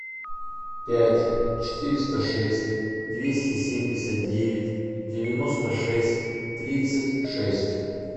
пять четыреста шесть двести семьдесят девять девяносто шесть тридцать шесть